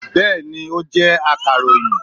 bẹẹni, o jẹ a irohin